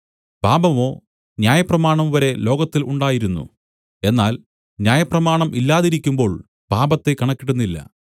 പാപമോ ന്യായപ്രമാണംവരെ ലോകത്തിൽ ഉണ്ടായിരുന്നു എന്നാൽ ന്യായപ്രമാണം ഇല്ലാതിരിക്കുമ്പോൾ പാപത്തെ കണക്കിടുന്നില്ല